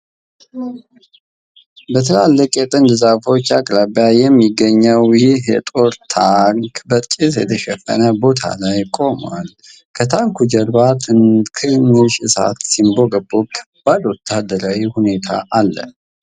በትላልቅ የጥድ ዛፎች አቅራቢያ የሚገኘው ይህ የጦር ታንክ በጭስ የተሸፈነ ቦታ ላይ ቆሟል። ከታንኩ ጀርባ ትንሽ እሳት ሲንቦገቦግ፣ ከባድ ወታደራዊ ሁኔታ አለ።